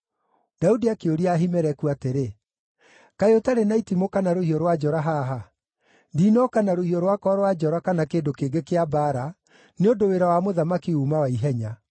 Daudi akĩũria Ahimeleku atĩrĩ, “Kaĩ ũtarĩ na itimũ kana rũhiũ rwa njora haha? Ndinooka na rũhiũ rwakwa rwa njora kana kĩndũ kĩngĩ kĩa mbaara, nĩ ũndũ wĩra wa mũthamaki uuma wa ihenya.”